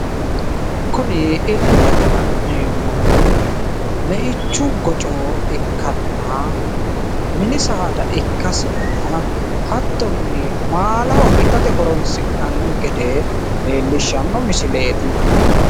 kuni illete la'neemmohu meichu goco ikkanna mini saada ikkasinna hattonni maalaho itate horosi'nanni gede leellishshanno misileeti.